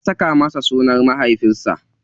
Ya saka masa sunan mahaifinsa.